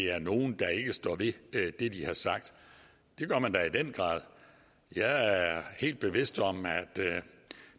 er nogen der ikke står ved det de har sagt det gør man da i den grad jeg er helt bevidst om at